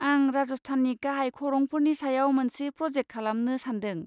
आं राजस्थाननि गाहाय खरंफोरनि सायाव मोनसे प्रजेक्ट खालामनो सान्दों।